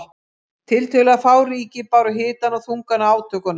Tiltölulega fá ríki báru hitann og þungann af átökunum.